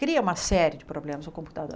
Cria uma série de problemas o computador.